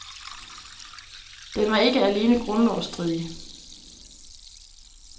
Den var ikke alene grundlovsstridig.